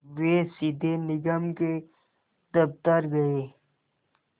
वे सीधे निगम के दफ़्तर गए